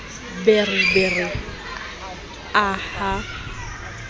be re be re aha